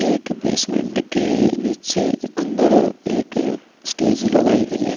एक बेसमेन्ट के नीचे अंदर एक स्टेज लगाई गई है।